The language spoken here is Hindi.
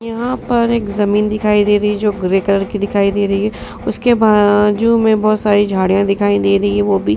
यह पर एक ज़मीन दिखाई दे रही जो ग्रे कलर की दिखाई दे रही है। उसके बाजु में बोहोत सारी झाड़ियाँ दिखाई दे रही हैं वो भी --